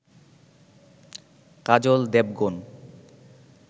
Kajal Devgan